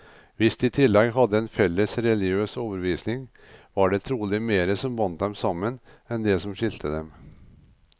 Hvis de i tillegg hadde en felles religiøs overbevisning, var det trolig mer som bandt dem sammen, enn det som skilte dem.